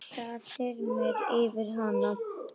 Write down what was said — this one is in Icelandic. Það þyrmir yfir hana.